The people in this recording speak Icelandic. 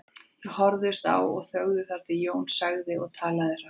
Þau horfðust á og þögðu þar til Jón sagði og talaði hratt